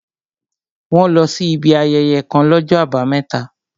Wọ́n lọ sí ibi ayẹyẹ kàn l'ọ́jọ́ àbámẹ́ta